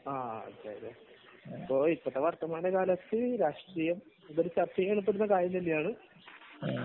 വർത്തമാന കാലത്തു രാഷ്ട്രീയം ചർച്ച ചെയ്യപ്പെടേണ്ട കാര്യം തന്നെയാണ്